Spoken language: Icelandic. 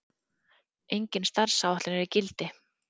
Engin starfsáætlun er í gildi.